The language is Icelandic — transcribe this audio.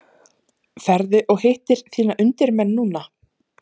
Ferðu og hittir þína undirmenn núna?